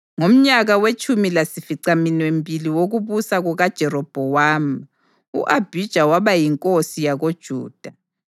Ngomnyaka wetshumi lasificaminwembili wokubusa kukaJerobhowamu, u-Abhija waba yinkosi yakoJuda,